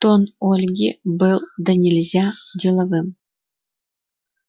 тон ольги был донельзя деловым